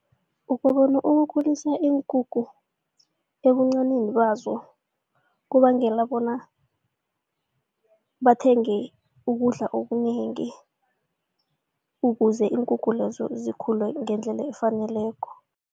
Ukubona ukukhulisa iinkukhu ebuncanini bazo kubangela bona bathenge ukudla okunengi ukuze iinkukhu lezo zikhule ngendlela efaneleko.